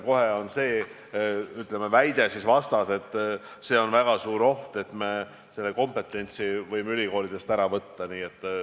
Kohe on ju vastas väide, et see on väga suur oht, et me võtame niimoodi kompetentsi ülikoolidest ära.